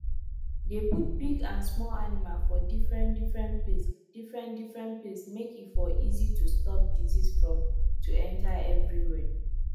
dey put big and small animal for different different place different different place make e for easy to stop disease from to enter everywhere